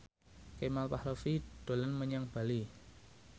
Kemal Palevi dolan menyang Bali